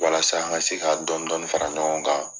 Walasa an ka se ka dɔndɔni fara ɲɔgɔn kan